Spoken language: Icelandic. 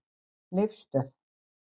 Leifsstöð